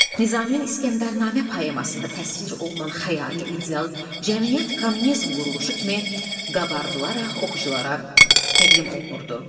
Nizaminin İsgəndərnamə poemasında təsvir olunan xəyali ideal cəmiyyət kommunizm quruluşu kimi qabardılaraq oxuculara təqdim olunurdu.